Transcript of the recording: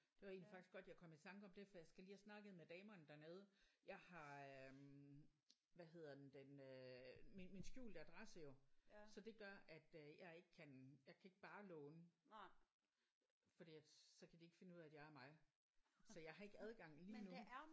Det var egentlig faktisk godt jeg kom i tanke om det for jeg skal lige have snakket med damerne dernede. Jeg har øh hvad hedder den den øh min min skjulte adresse jo så det gør at jeg ikke jeg kan ikke bare låne for det at så kan de ikke finde ud af at jeg er mig. Så jeg har ikke adgang lige nu